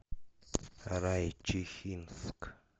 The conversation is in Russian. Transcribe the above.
райчихинск